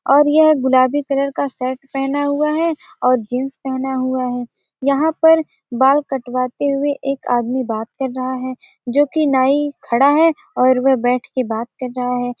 और यह गुलाबी कलर का शर्ट पहना हुआ है और जींस पहना हुआ है यहां पर बाल कटवाते हुए एक आदमी बात कर रहा है जो कि नाई खड़ा है और वह बैठ के बात कर रहा है।